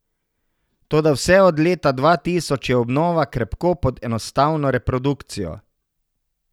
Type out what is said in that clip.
Toda vse od leta dva tisoč je obnova krepko pod enostavno reprodukcijo.